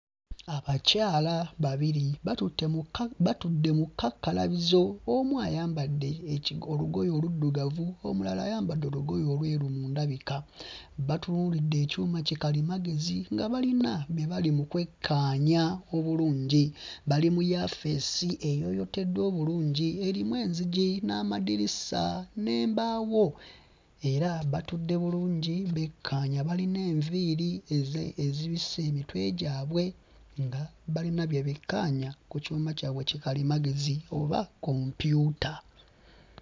Abakyala babiri batutte mu kka batudde mu kkakkalabizo omu ayambadde eki olugoye oluddugavu omulala ayambadde olugoye olweru mu ndabika, batunuulidde ekyuma kikalimagezi nga balina bye bali mu kwekkaanya obulungi, bali mu yaafeesi eyooyooteddwa obulungi erimu enzigi n'amadirisa n'embaawo era batudde bulungi bekkaanya balina enviiri ezi ezibisse emitwe gyabwe nga balina bye bekkaanya ku kyuma kyabwe kikalimagezi oba kompyuta.